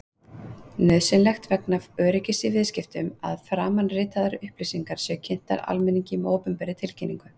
Nauðsynlegt er vegna öryggis í viðskiptum að framanritaðar upplýsingar séu kynntar almenningi með opinberri tilkynningu.